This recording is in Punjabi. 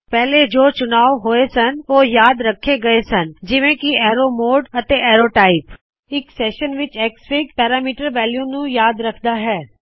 ਪਹਿਲੇ ਜੋ ਚੁਣਾਵ ਹੋਏ ਸਨ ਉਹ ਯਾਦ ਰੱਖੇ ਗਏ ਹਨ ਜਿਵੇਂ ਕਿ ਅਰੋ modeਅਤੇ ਅਰੋ ਟਾਈਪ ਇਕ ਸੈਸ਼ਨ ਵਿੱਚ ਐਕਸਐਫਆਈਜੀ ਪੈਰਾਮੀਟਰ ਵੈਲੂਜ਼ ਨੂੰ ਯਾਦ ਰੱਖਦਾ ਹੈ